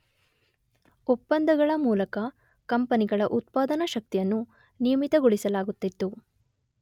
ಒಪ್ಪಂದಗಳ ಮೂಲಕ ಕಂಪೆನಿಗಳ ಉತ್ಪಾದನಾ ಶಕ್ತಿಯನ್ನು ನಿಯಮಿತಗೊಳಿಸಲಾಗುತ್ತಿತ್ತು.